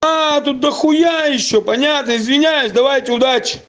а тут до хуя ещё понятно извиняюсь давай те удачи